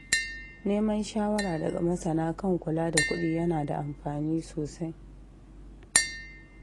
Neman shawara daga masana kan kula da kuɗi yana da amfani sosai.